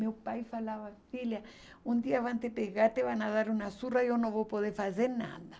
Meu pai falava, filha, um dia vão te pegar, te vão dar uma surra e eu não vou poder fazer nada.